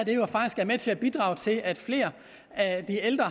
med til at bidrage til at flere af de ældre